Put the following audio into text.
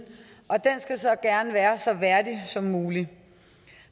og den skal så gerne være så værdig som muligt